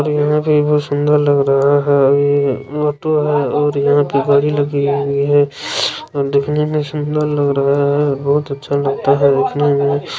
यह पे ईए बोहोट सुंदर लग रहा है ईए मोटर है और याहा पे गारी लगी हुई है और डिस्प्ले में लग रहा है बहुत अच्छा लग रहा है